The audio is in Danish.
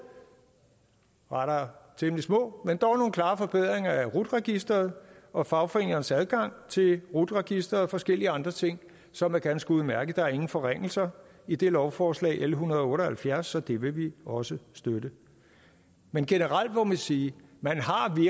rettere temmelig små forbedringer af rut registeret og fagforeningernes adgang til rut registeret og forskellige andre ting som er ganske udmærkede der er ingen forringelser i det lovforslag l en hundrede og otte og halvfjerds så det vil vi også støtte men generelt må vi sige